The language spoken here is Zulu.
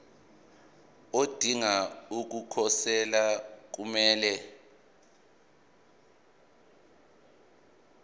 odinga ukukhosela kumele